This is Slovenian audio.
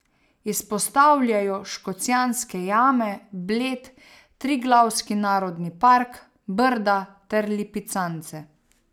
Izpostavljajo Škocjanske jame, Bled, Triglavski narodni park, Brda ter Lipicance.